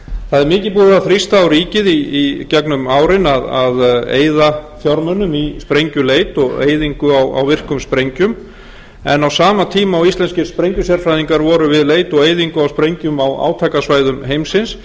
það er mikið búið að þrýsta á ríkið í gegnum árin að eyða fjármunum í sprengjuleit og eyðingu á virkum sprengjum en á sama tíma og íslenskir sprengjusérfræðingar voru við leit og eyðingu á sprengjum á átakasvæðum heimsins